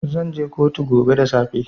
Zan je kotu gobe da safe.